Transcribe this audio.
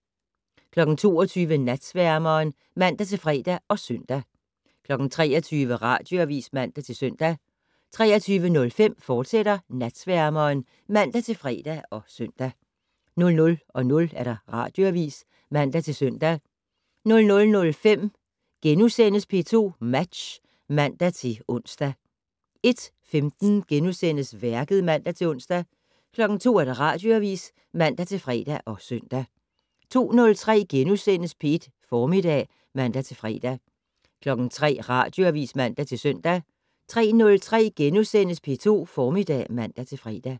22:00: Natsværmeren (man-fre og søn) 23:00: Radioavis (man-søn) 23:05: Natsværmeren, fortsat (man-fre og søn) 00:00: Radioavis (man-søn) 00:05: P2 Match *(man-ons) 01:15: Værket *(man-ons) 02:00: Radioavis (man-fre og søn) 02:03: P2 Formiddag *(man-fre) 03:00: Radioavis (man-søn) 03:03: P2 Formiddag *(man-fre)